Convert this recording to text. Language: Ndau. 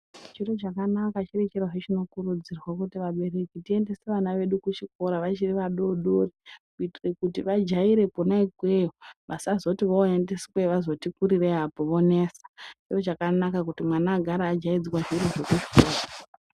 Chiro chakanaka chiri chirozve chinokurudzira kuti vabereki tiendese vana vedu kuchikora vachiri vadodori. Kuitira kuti vajaire kona ikweyo vasazoti vaiendiswa vazoti kurirei apo vonesa. Chiro chakanaka kuti mwana agare ajaidzwa zviro zvekuchikora.